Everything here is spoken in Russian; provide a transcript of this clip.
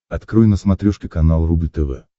открой на смотрешке канал рубль тв